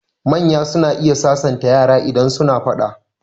Manya suna iya sasanta yara idan suna faɗa.